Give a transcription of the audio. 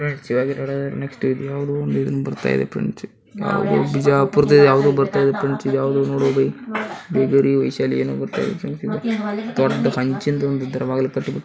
Shivaji road next ಇದ್ಯಾವ್ದೋ ಬಿಜಾಪುರದಿಂದ ಬರ್ತದೆ ಫ್ರಿನ್ಡ್ಸ್ ಇದ್ಯಾವ್ದೋ ಬಿಜಾಪುರದ ವಿಹಾರಿ ವಿಶಾಲಿ ಏನೋ ಬರ್ತಾಇದೇ ಫ್ರೆಂಡ್ಸ್ ದೊಡ್ಡ ಫುನ್ಕ್ಷನದು ದೊಡ್ಡ ಬಾಗಿಲು --